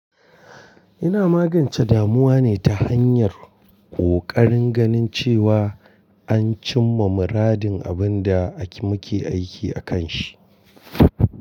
Ina magance damuwa ne ta hanyar kokarin ganin cewa an cimma muradin abin da muke aiki akan shi.